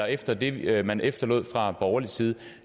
efter det det man efterlod fra borgerlig side